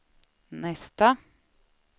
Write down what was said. nästa